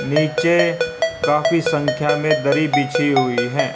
नीचे काफी संख्या में दरी बिछी हुई हैं।